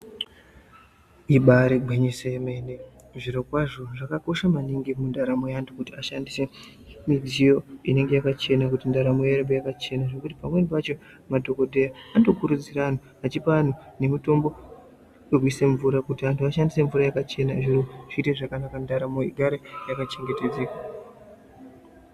Ibari gwinyiso emene zvirokwazvo zvakakosha maningi kundaramo yeanhu kuti ashandise midziyo inenge yakachena kuti ndaramo iye yakachena, pamweni pacho madhokodheya anoto kurudzira anhu, achipa anhu nemutombo yekuise mvura kuti anhu aise mumvura yakachena zvinhu zvimwe zvakachena ndaramo yakachengetedzeka.